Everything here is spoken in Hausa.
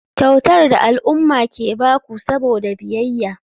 Kyautar da al'umma ke ba ku saboda biyayya.